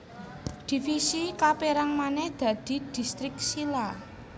Divisi kapérang manèh dadi distrik zila